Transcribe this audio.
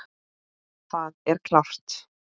Það er klárt.